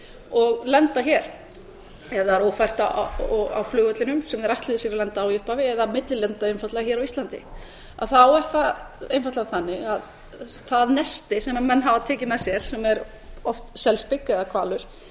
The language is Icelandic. og lenda hér ef það er ófært á flugvellinum sem þeir ætluðu sér að lenda á í upphafi eða millilenda einfaldlega hér á íslandi þá er það einfaldlega þannig að það nesti sem menn hafa tekið með sér sem er oft selspik eða hvalur